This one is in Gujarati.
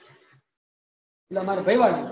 એટલે અમારી ભાઈ વાડી